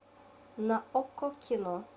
на окко кино